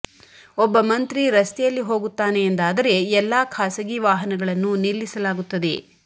ಒಬ್ಬ ಮಂತ್ರಿ ರಸ್ತೆಯಲ್ಲಿ ಹೋಗುತ್ತಾನೆ ಎಂದಾದರೆ ಎಲ್ಲಾ ಖಾಸಗಿ ವಾಹನಗಳನ್ನು ನಿಲ್ಲಿಸಲಾಗುತ್ತದೆ